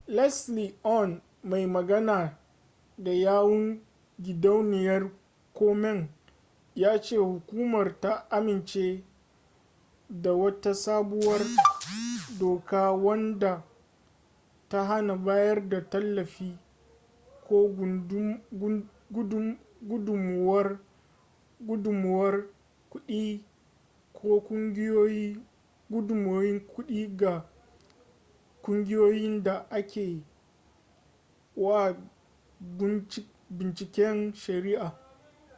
leslie aun mai magana da yawun gidauniyar komen ya ce hukumar ta amince da wata sabuwar doka wadda ta hana bayar da tallafi ko gudunmuwar kuɗi ga ƙungiyoyin da ake wa bunciken shari'a